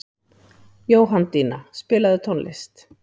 Jóhanndína, spilaðu tónlist.